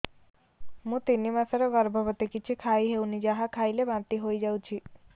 ମୁଁ ତିନି ମାସର ଗର୍ଭବତୀ କିଛି ଖାଇ ହେଉନି ଯାହା ଖାଇଲେ ବାନ୍ତି ହୋଇଯାଉଛି